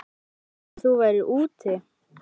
Ég hélt að þú værir úti.